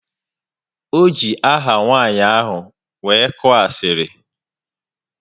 O ji aha nwanyị ahụ wee koo asiri